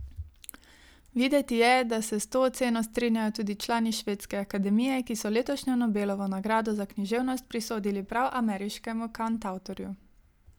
Videti je, da se s to oceno strinjajo tudi člani Švedske akademije, ki so letošnjo Nobelovo nagrado za književnost prisodili prav ameriškemu kantavtorju.